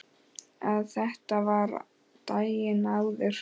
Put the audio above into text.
Að þetta var daginn áður.